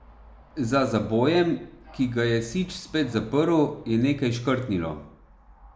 Za zabojem, ki ga je Sič spet zaprl, je nekaj škrtnilo.